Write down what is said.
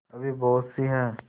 अभी बहुतसी हैं